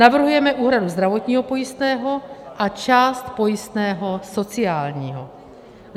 Navrhujeme úhradu zdravotního pojistného a část pojistného sociálního.